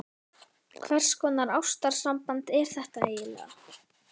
Hvers konar ástarsamband er þetta eiginlega?